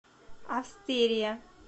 австерия